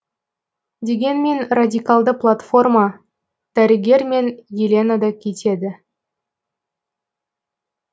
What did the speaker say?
дегенмен радикалды платформа дәрігер мен елена да кетеді